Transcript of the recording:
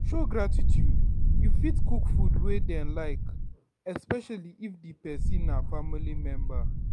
show gratitude you fit cook food wey dem like, especially if di person na family member